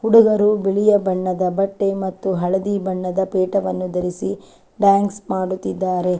ಹುಡುಗರು ಬಿಳಿಯ ಬಣ್ಣದ ಬಟ್ಟೆ ಮತ್ತು ಹಳದಿ ಬಣ್ಣದ ಪೇಟವನ್ನು ಧರಿಸಿ ಡಾನ್ಸ್ ಮಾಡುತ್ತಿದ್ದಾರೆ.